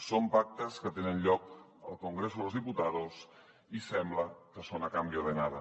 són pactes que tenen lloc al congreso de los diputados i sembla que són a cambio de nada